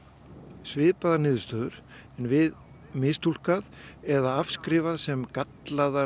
svipaðar niðurstöður en við mistúlkað eða afskrifað sem gallaðar